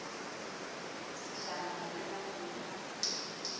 sajene mallela o ne a